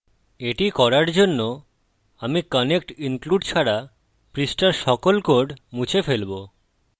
এটি করার জন্য আমি connect include ছাড়া পৃষ্ঠার সকল কোড মুছে ফেলবো